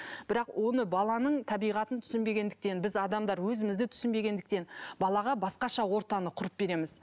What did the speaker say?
бірақ оны баланың табиғатын түсінбегендіктен біз адамдар өзімізді түсінбегендіктен балаға басқаша ортаны құрып береміз